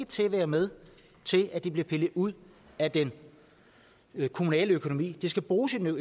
til at være med til at det bliver pillet ud af den kommunale økonomi det skal bruges i den